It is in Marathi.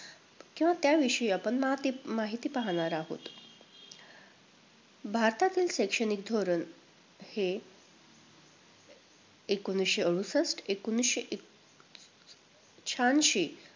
किंवा त्याविषयी आपण माहती~ माहिती पाहणार आहोत. भारतातील शैक्षणिक धोरण हे एकोणवीसशे अडुसष्ठ एकोणवीसशे अह छेहाऐंशी